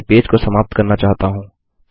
मैं अपने पेज को समाप्त करना चाहता हूँ